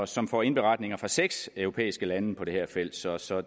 som får indberetninger fra seks europæiske lande på det her felt så så